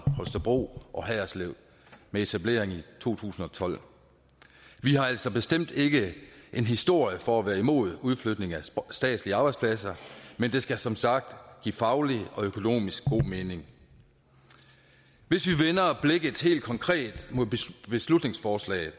holstebro og haderslev ved etableringen i to tusind og tolv vi har altså bestemt ikke en historie for at være imod udflytning af statslige arbejdspladser men det skal som sagt give faglig og økonomisk god mening hvis vi vender blikket helt konkret mod beslutningsforslaget